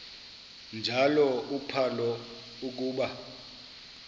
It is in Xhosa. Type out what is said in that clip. njalo uphalo akuba